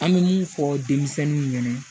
An bɛ mun fɔ denmisɛnninw ɲɛna